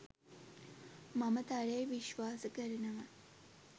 මම තරයේ විශ්වාස කරනවා.